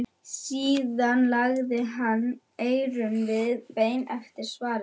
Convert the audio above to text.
Síðan lagði hann við eyrun og beið eftir svari.